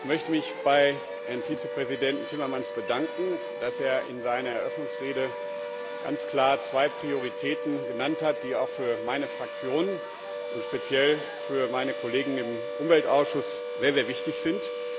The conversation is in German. Ich möchte mich bei Herrn Vizepräsidenten Timmermans bedanken, dass er in seiner Eröffnungsrede ganz klar zwei Prioritäten genannt hat, die auch für meine Fraktion und speziell für meine Kollegen im Umweltausschuss sehr wichtig sind.